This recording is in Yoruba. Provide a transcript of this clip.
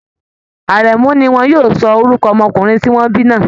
Àrẹ̀mu ni wọn yóò sọ orúkọ ọmọkùnrin tí wọ́n bí náà